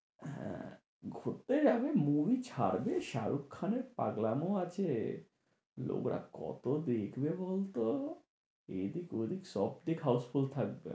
হ্যাঁ ঘুরতে যাবে। movie ছাড়বে শাহরুখ খানের পাগলামো আছে। লোকরা কত দেখবে বলতো? এদিক ওদিক সবদিক housefull থাকবে।